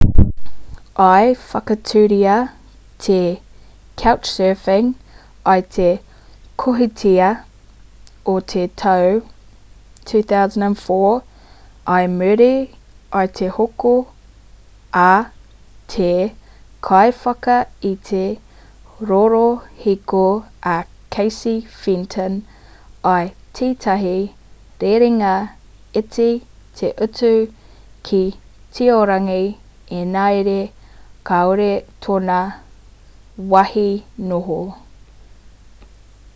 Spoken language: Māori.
i whakatūria te couchsurfing i te kohitātea o te tau 2004 i muri i te hoko a te kaiwhakaite rorohiko a casey fenton i tētahi rerenga iti te utu ki tiorangi engari kāore tōna wāhi noho